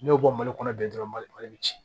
N'i y'o bɔ mali kɔnɔ bi dɔrɔn mali mali bɛ ci